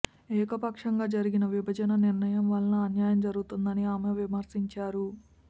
ఏకపక్షంగా జరిగిన విభజన నిర్ణయం వల్ల అన్యాయం జరుగుతోందని ఆమె విమర్శించారు